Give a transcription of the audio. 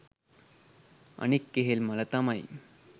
අනික් කෙහෙල්මල තමයි